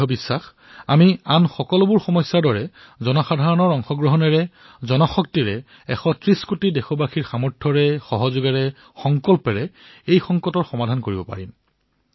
মোৰ বিশ্বাস যে আমি আন সমস্যাসমূহৰ দৰে জন সহযোগিতাৰে এশ ত্ৰিশ কোটি দেশবাসীৰ সামৰ্থ সহযোগ আৰু সংকল্পৰ দ্বাৰা এই সংকটৰো সমাধান উলিয়াব পাৰিম